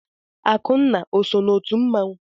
Akụnna o so n'otu mmanwụ?